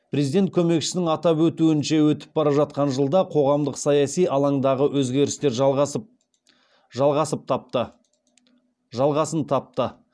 президент көмекшісінің атап өтуінше өтіп бара жатқан жылда қоғамдық саяси алаңдағы өзгерістер жалғасын тапты